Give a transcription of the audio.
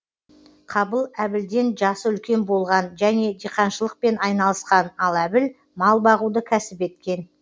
қабыл әбілден жасы үлкен болған және диқаншылықпен айналысқан ал әбіл мал бағуды кәсіп еткен